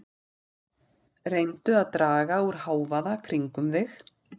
Reyndu að draga úr hávaða kringum þig.